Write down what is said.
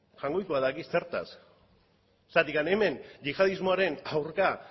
jaungoikoak daki zertaz zergatik hemen yihadismoaren aurka